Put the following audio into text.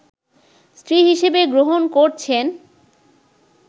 স্ত্রী হিসেবে গ্রহণ করছেন